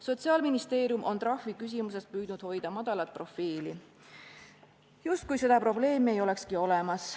Sotsiaalministeerium on trahviküsimuse puhul püüdnud hoida madalat profiili, justkui seda probleemi ei olekski olemas.